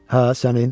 Hə, sənin.